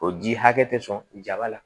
O ji hakɛ tɛ sɔn jaba la